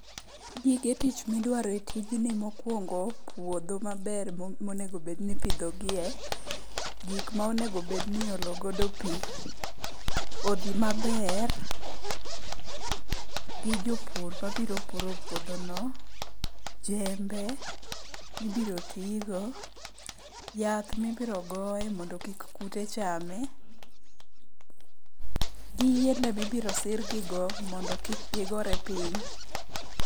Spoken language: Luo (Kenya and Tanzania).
Gige tich midwaro e tijni mokwongo puodho maber monegobedni ipidhogiye, gik monegobed ni iolo godo pi, kodhi maber gi jopur mabiro puro puodhono, jembe mibiro tigo, yath mibiro goe mondo kik kute chame, gi yiende mibiro sirgigo mondo kik gigore piny.